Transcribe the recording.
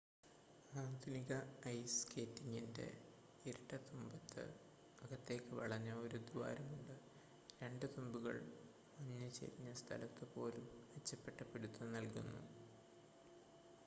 ആധുനിക ഐസ് സ്കേറ്റിൻ്റെ ഇരട്ട തുമ്പത്ത് അകത്തേയ്ക്ക് വളഞ്ഞ ഒരു ദ്വാരമുണ്ട് 2 തുമ്പുകൾ മഞ്ഞ് ചെരിഞ്ഞ സ്ഥലത്തുപോലും മെച്ചപ്പെട്ട പിടിത്തം നൽകുന്നു